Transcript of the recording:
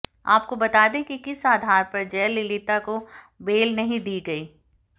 आपको बता दें कि किस आधार पर जयललिता को बेल नहीं दी गई